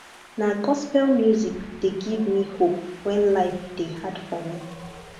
na gospel music dey give me hope wen life dey hard for me